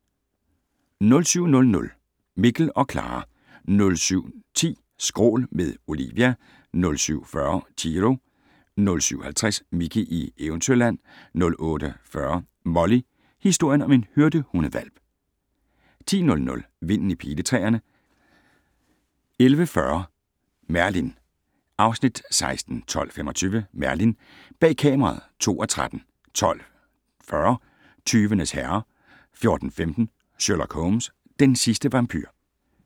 07:00: Mikkel og Klara 07:10: Skrål - med Olivia 07:40: Chiro 07:50: Mickey i Eventyrland 08:40: Molly - historien om en hyrdehundehvalp 10:00: Vinden i Piletræerne 11:40: Merlin (Afs. 16) 12:25: Merlin: Bag kameraet (2:13) 12:40: Tyvenes herre 14:15: Sherlock Holmes: Den sidste vampyr